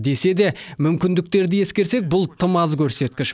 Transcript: десе де мүмкіндіктерді ескерсек бұл тым аз көрсеткіш